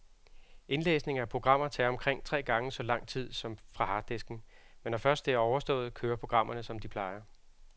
Indlæsning af programmer tager omkring tre gange så lang tid som fra harddisken, men når først det er overstået, kører programmerne som de plejer.